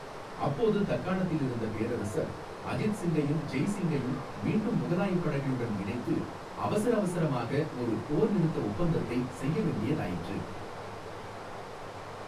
அப்போது தக்காணத்தில் இருந்த பேரரசர், அஜித் சிங்கையும் ஜெய் சிங்கையும் மீண்டும் முகலாயப் படைகளுடன் இணைத்து அவசர அவசரமாக ஒரு போர்நிறுத்த ஒப்பந்தத்தை செய்ய வேண்டியதாயிற்று.